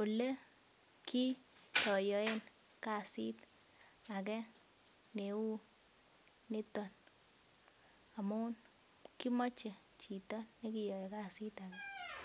oliyayaen kasit age Neu niton amun kimache Chito nikiyae kasit age